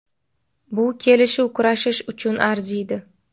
Bu kelishuv kurashish uchun arziydi.